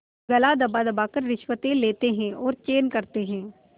गला दबादबा कर रिश्वतें लेते हैं और चैन करते हैं